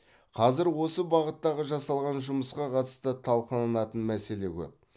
қазір осы бағыттағы жасалған жұмысқа қатысты талқыланатын мәселе көп